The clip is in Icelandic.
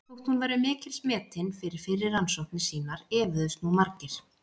Þótt hún væri mikils metin fyrir fyrri rannsóknir sínar efuðust nú margir.